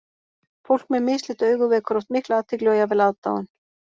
Fólk með mislit augu vekur oft mikla athygli og jafnvel aðdáun.